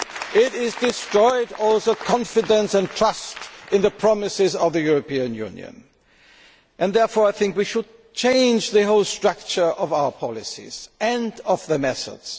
It has destroyed all confidence and trust in the promises of the European Union. Therefore I think we should change the whole structure of our policies and of the methods.